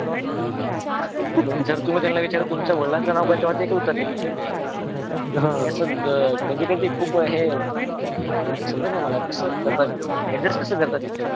जर तुम्ही त्याला विचार तुमच्या वडलांचे नाव काय ते काय उत्तर देता. जर अस कधी कधी खूप हे समजत नाही मला कस करता adjust कस करता तितक